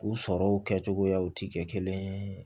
U sɔrɔw kɛcogoyaw ti kɛ kelen ye